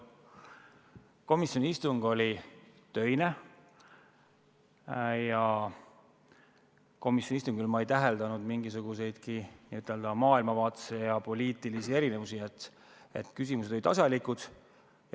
Komisjoni istung oli töine ja istungil ei täheldanud ma mingisuguseidki maailmavaatelisi ja poliitilisi erinevusi, küsimused olid asjalikud.